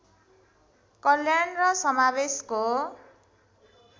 कल्याण र समावेशको